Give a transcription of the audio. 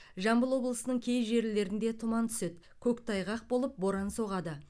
жамбыл облысының кей жерлерінде тұман түседі көктайғақ болып боран соғады